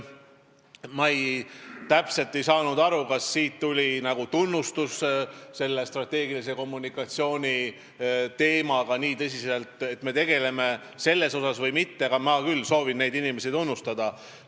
Ma täpselt ei saanud aru, kas teilt tuli nagu tunnustus selle eest, et me selle strateegilise kommunikatsiooni teemaga nii tõsiselt tegeleme, aga mina soovin küll neid inimesi tunnustada.